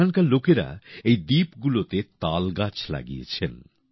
ওখানকার লোকেরা এই দ্বীপগুলোতে তাল গাছ লাগিয়েছেন